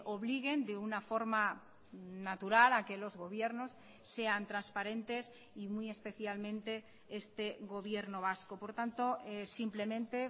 obliguen de una forma natural a que los gobiernos sean transparentes y muy especialmente este gobierno vasco por tanto simplemente